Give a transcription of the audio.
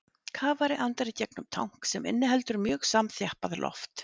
Kafari andar í gegnum tank sem inniheldur mjög samanþjappað loft.